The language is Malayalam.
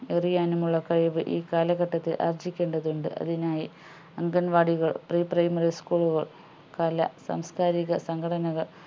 എറിയാൻനുമുള്ള കഴിവ് ഈ കാലഘട്ടത്തിൽ ആർജ്ജിക്കേണ്ടതുണ്ട് അതിനായി അംഗൻവാടികൾ preprimary school കൾ കലാ സാംസ്‌കാരിക സംഘടനകൾ